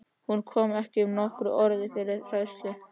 Hún kom ekki upp nokkru orði fyrir hræðslu.